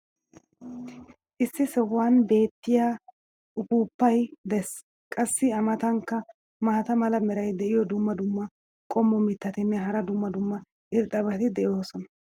issi sohuwan beetiya uppuuppay des. qassi a matankka maata mala meray diyo dumma dumma qommo mitattinne hara dumma dumma irxxabati de'oosona.